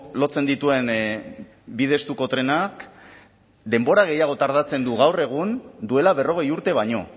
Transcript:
lotzen dituen bide estuko trenak denbora gehiago tardatzen du gaur egun duela berrogei urte baino